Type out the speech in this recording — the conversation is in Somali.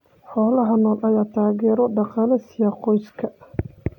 Xoolaha nool ayaa taageero dhaqaale siiya qoysaska.